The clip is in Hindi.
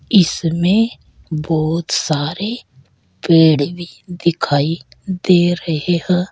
इसमें बहुत सारे पेड़ भी दिखाई दे रहे है।